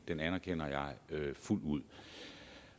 det anerkender jeg fuldt ud